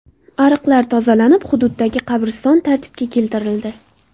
Ariqlar tozalanib, hududdagi qabriston tartibga keltirildi.